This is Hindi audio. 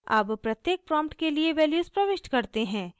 अब प्रत्येक प्रॉम्प्ट के लिए वैल्यूज़ प्रविष्ट करते हैं